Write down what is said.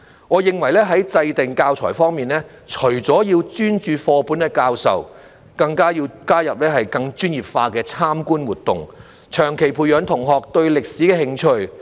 我認為在制訂教材方面，除了要專注課本的教授，更要加入更專業化的參觀活動，長期培養學生對歷史的興趣。